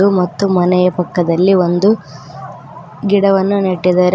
ಮತ್ತು ಮನೆಯ ಪಕ್ಕದಲ್ಲಿ ಒಂದು ಗಿಡವನ್ನು ನೆಟ್ಟಿದರೆ.